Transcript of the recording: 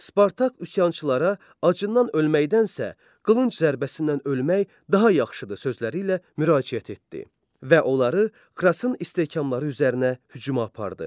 Spartak üsyançılara acından ölməkdənsə, qılınc zərbəsindən ölmək daha yaxşıdır sözləri ilə müraciət etdi və onları Krasın istehkamları üzərinə hücuma apardı.